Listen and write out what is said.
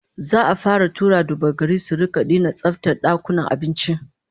Za'a fara tura duba-gari su rika dina tsaftar dakunan abinci